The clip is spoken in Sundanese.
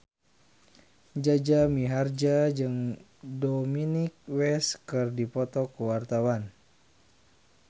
Jaja Mihardja jeung Dominic West keur dipoto ku wartawan